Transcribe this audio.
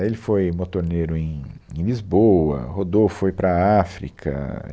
Ele foi motorneiro em em Lisboa, rodou, foi para a África.